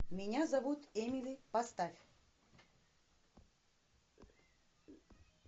меня зовут эмили поставь